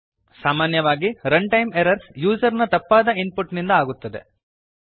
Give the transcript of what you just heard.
ಸಾಮಾನ್ಯವಾಗಿ runtime errors user ನ ತಪ್ಪಾದ ಇನ್ ಪುಟ್ ನಿಂದ ಆಗುತ್ತವೆ